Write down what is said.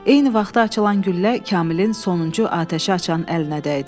Eyni vaxtda açılan güllə Kamilin sonuncu atəşə açan əlinə dəydi.